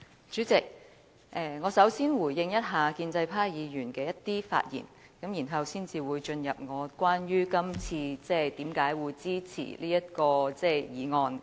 主席，首先，我要回應建制派議員的一些發言內容，然後才會講述今次我為何支持這項議案。